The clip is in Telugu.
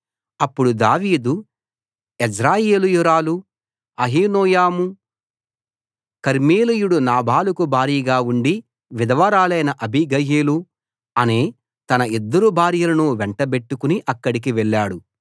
అప్పుడు దావీదు యెజ్రెయేలీయురాలు అహీనోయము కర్మెలీయుడు నాబాలుకు భార్యగా ఉండి విధవరాలైన అబీగయీలు అనే తన ఇద్దరు భార్యలను వెంట బెట్టుకుని అక్కడికి వెళ్ళాడు